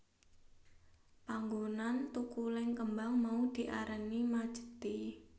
Panggonan thukuling kembang mau diarani Majethi